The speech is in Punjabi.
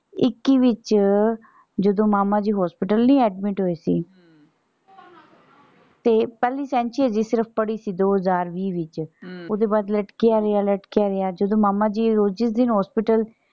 ਇੱਕੀ ਵਿੱਚ ਜਦੋਂ ਮਾਮਾ ਜੀ hospital ਨਹੀਂ admit ਹੋਏ ਸੀ ਤੇ ਪਹਿਲੀ ਸੈਂਚੀ ਸਿਰਫ ਪੜੀ ਸੀ ਦੋ ਹਜ਼ਾਰ ਵੀਹ ਚ ਓਹਦੇ ਬਾਅਦ ਲਟਕਿਆ ਗਿਆ ਫੇਰ ਲਟਕਿਆ ਗਿਆ ਫਿਰ ਮਾਮਾ ਜੀ ਉਸੇ ਦਿਨ hospital